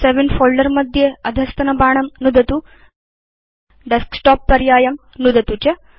save in folder मध्ये अधस्तनबाणं नुदतु Desktop पर्यायं नुदतु च